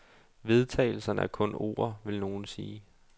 Vedtagelserne er kun ord, vil nogen sige.